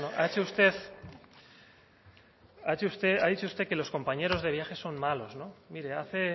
bueno ha dicho usted que los compañeros de viaje son malos no mire hace